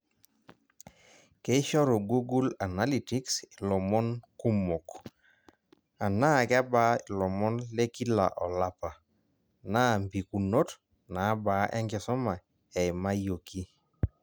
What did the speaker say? Keishoru google analytics ilomon kumok, anaa kebaa ilomon lekila olapa, na mpikunot nabaa enkisuma eimayioki.